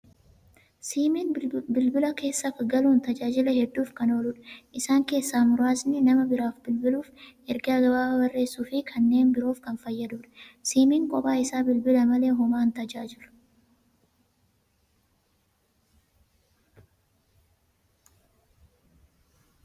Siimiin bilbila keessa galuun tajaajila hedduuf kan ooludha. Isaan keessaa muraasni nama biraaf bilbiluuf, ergaa gabaabaa barreessuu fi kanneen biroof kan fayyadudha. Siimiin kophaa isaa, bilbila malee homaa hin tajaajilu.